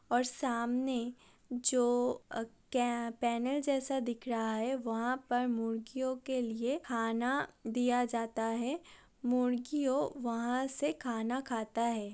और सामने जो अ केें पैनल जैसा दिख रहा है वहां पर मुर्गियों के लिए खाना दिया जाता है। मुर्गियों वहां से खाना खाता है।